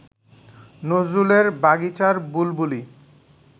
নজরুলের বাগিচার বুলবুলি